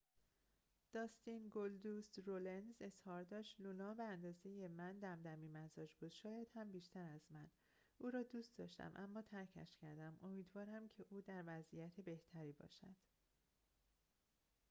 داستین گلدوست رونلز اظهار داشت لونا به اندازه من دمدمی‌مزاج بود شاید هم بیشتر از من او را دوست داشتم اما ترکش کردم امیدوارم که او در وضعیت بهتری باشد